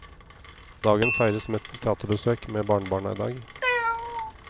Dagen feires med teaterbesøk med barnebarna i dag.